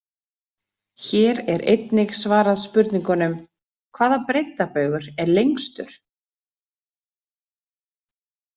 Hér er einnig svarað spurningunum: Hvaða breiddarbaugur er lengstur?